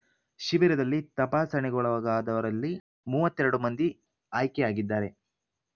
ಶಿಬಿರದಲ್ಲಿ ತಪಾಸಣೆಗೊಳಗಾದವರಲ್ಲಿ ಮೂವತ್ತ್ ಎರಡು ಮಂದಿ ಆಯ್ಕೆಯಾಗಿದ್ದಾರೆ